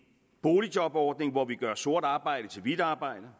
boligjobordning hvor vi gør sort arbejde til hvidt arbejde